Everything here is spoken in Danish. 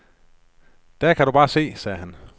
Der kan du bare se, sagde han.